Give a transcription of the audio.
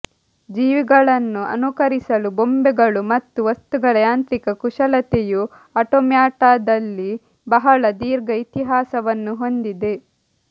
ಜೀವಿಗಳನ್ನು ಅನುಕರಿಸಲು ಬೊಂಬೆಗಳು ಮತ್ತು ವಸ್ತುಗಳ ಯಾಂತ್ರಿಕ ಕುಶಲತೆಯು ಆಟೊಮ್ಯಾಟಾದಲ್ಲಿ ಬಹಳ ದೀರ್ಘ ಇತಿಹಾಸವನ್ನು ಹೊಂದಿದೆ